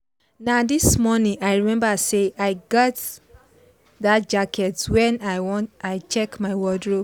na this morning i remember say i get that jacket when i check my wardrobe.